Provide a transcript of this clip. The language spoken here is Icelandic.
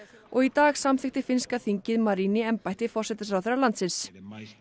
og í dag samþykkti finnska þingið Marin í embætti forsætisráðherra landsins